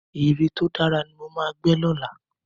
Ère tó dára ni mo ma gbẹ́ lọ́la